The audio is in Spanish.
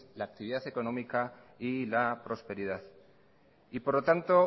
la actividad económica y la prosperidad y por lo tanto